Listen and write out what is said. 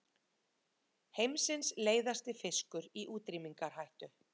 Heimsins leiðasti fiskur í útrýmingarhættu